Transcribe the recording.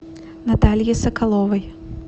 наталье соколовой